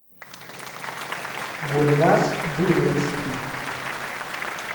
гульназ гулевский